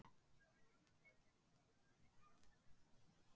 Hafliði, læstu útidyrunum.